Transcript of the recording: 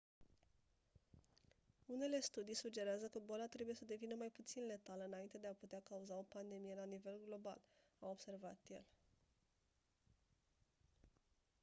unele studii sugerează că boala trebuie să devină mai puțin letală înainte de a putea cauza o pandemie la nivel global a observat el